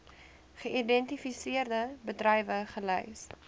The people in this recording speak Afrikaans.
geïdentifiseerde bedrywe gelys